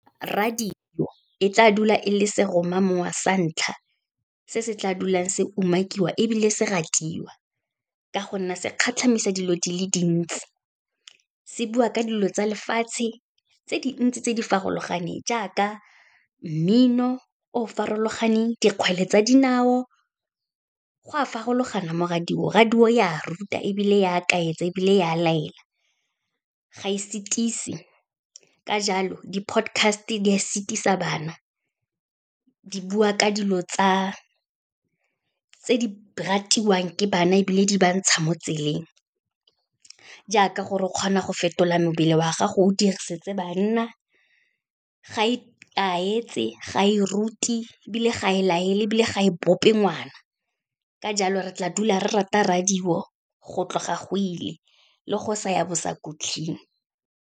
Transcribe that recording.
Radio e tla dula e le seromamowa sa ntlha, se se tla dulang se umakiwa ebile se ratiwa, ka go nna se kgatlhamisa dilo di le dintsi, se bua ka dilo tsa lefatshe tse dintsi tse di farologaneng, jaaka mmino o farologaneng, dikgwele tsa dinao, go a farologana mo radio-ng, radio e a ruta, ebile ya kaetsa ebile e a laela, ga e setise. Ka jalo, di-podcast-e di a setisa bana, di bua ka dilo tse di ratiwang ke bana ebile di ba ntsha mo tseleng, jaaka gore o kgona go fetola mebele wa gago o dirisitse banna, ga e kaetse ga e ruti, ebile ga e laele ebile ga e bope ngwana. Ka jalo, re tla dula re rata radio go tloga go ile le go sa ya bosakhutleng.